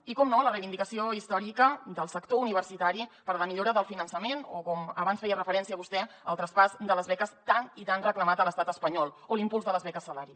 i per descomptat la reivindicació històrica del sector universitari per a la millora del finançament o com abans hi feia referència vostè el traspàs de les beques tan i tan reclamat a l’estat espanyol o l’impuls de les beques salari